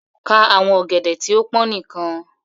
Kà àwọn ògèdè tí o pọn níkan!